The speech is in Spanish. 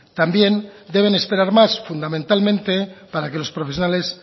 también deben esperar más fundamentalmente para que los profesionales